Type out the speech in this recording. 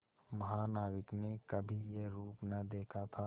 महानाविक ने कभी यह रूप न देखा था